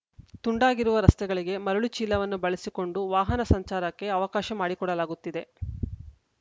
ತುಂಡಾಗಿರುವ ರಸ್ತೆಗಳಿಗೆ ಮರಳು ಚೀಲವನ್ನು ಬಳಸಿಕೊಂಡು ವಾಹನ ಸಂಚಾರಕ್ಕೆ ಅವಕಾಶ ಮಾಡಿಕೊಡಲಾಗುತ್ತಿದೆ